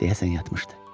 Deyəsən yatmışdı.